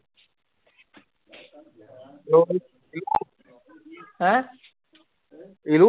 ਹੈਂ